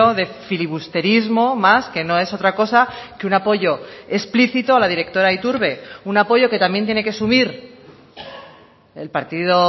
de filibusterismo más que no es otra cosa que un apoyo explícito a la directora iturbe un apoyo que también tiene que asumir el partido